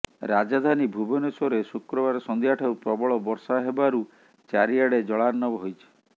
ରାଜଧାନୀ ଭୁବନେଶ୍ୱରରେ ଶୁକ୍ରବାର ସନ୍ଧ୍ୟା ଠାରୁ ପ୍ରବଳ ବର୍ଷା ହେବାରୁ ଚାରି ଆଡେ ଜଳାର୍ଣ୍ଣବ ହୋଇଛି